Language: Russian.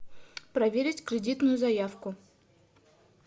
проверить кредитную заявку